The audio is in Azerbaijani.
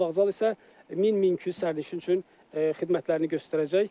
Avtovağzal isə 1000-1200 sərnişin üçün xidmətlərini göstərəcək.